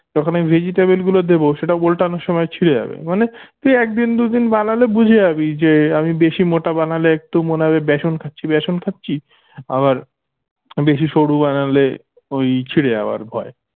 যখন আমি vegetable গুলো দেবো সেটা ওল্টানোর সময় ছিড়ে যাবে মানে তুই একদিন দুইদিন বানালে বুঝে যাবি যে আমি বেশি মোটা বানালে একটু মনে হবে বেসন খাচ্ছি বেসন খাচ্ছি আবার বেশি সরু বানালে ওই ছিড়ে যাবার ভয়